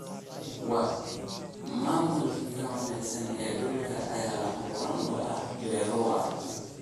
Maamulka wanaagsan ee dhulka ayaa lama huraan u ah beero waara.